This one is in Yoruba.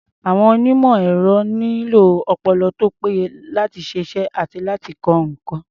Àwọn onímọ̀-ẹ̀rọ nílò ọpọlọ tó péye láti ṣiṣẹ́ àti láti kọ́ nǹkan.